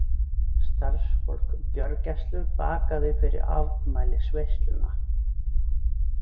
Starfsfólk gjörgæslu bakaði fyrir afmælisveisluna